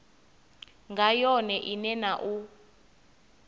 nga yone ine na u